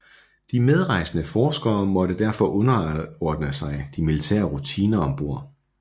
De medrejsende forskere måtte derfor underordne sig de militære rutiner om bord